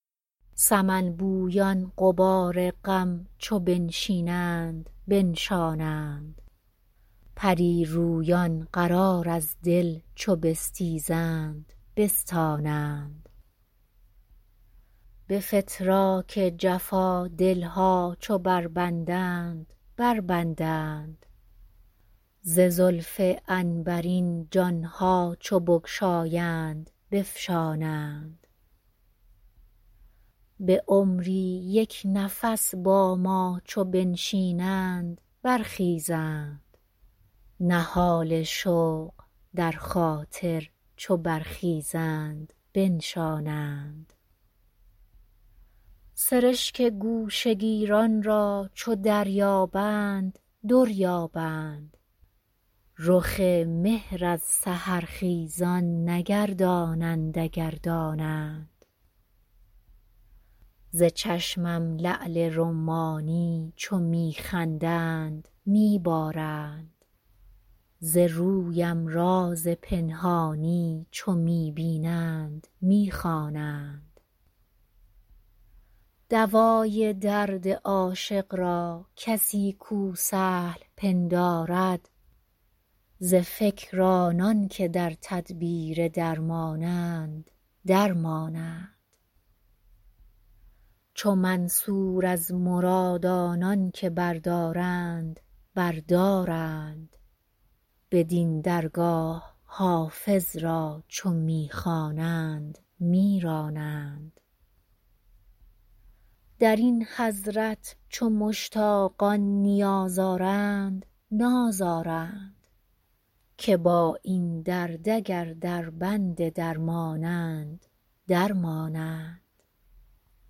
سمن بویان غبار غم چو بنشینند بنشانند پری رویان قرار از دل چو بستیزند بستانند به فتراک جفا دل ها چو بربندند بربندند ز زلف عنبرین جان ها چو بگشایند بفشانند به عمری یک نفس با ما چو بنشینند برخیزند نهال شوق در خاطر چو برخیزند بنشانند سرشک گوشه گیران را چو دریابند در یابند رخ مهر از سحرخیزان نگردانند اگر دانند ز چشمم لعل رمانی چو می خندند می بارند ز رویم راز پنهانی چو می بینند می خوانند دوای درد عاشق را کسی کو سهل پندارد ز فکر آنان که در تدبیر درمانند در مانند چو منصور از مراد آنان که بردارند بر دارند بدین درگاه حافظ را چو می خوانند می رانند در این حضرت چو مشتاقان نیاز آرند ناز آرند که با این درد اگر دربند درمانند در مانند